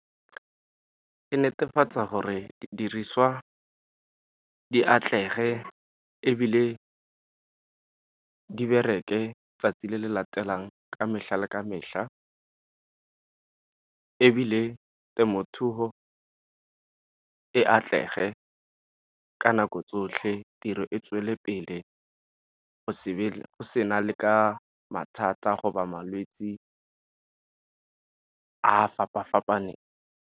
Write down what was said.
Ke netefatsa gore diriswa di atlege ebile di bereke 'tsatsi le le latelang ka mehla le ka mehla, ebile temothuo e atlege ka nako tsotlhe tiro e tswelele pele go se be go sena le ka mathata go ba malwetse a a fapa-fapaneng.